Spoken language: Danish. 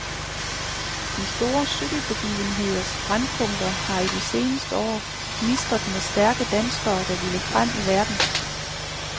De store cykelbegivenheders brændpunkter har i de seneste år gnistret med stærke danskere, der ville frem i verden.